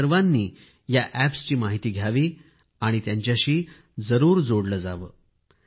आपण सर्वांनी या अॅप्सची माहिती घ्यावी आणि जरूर त्यांच्याशी जोडले जावे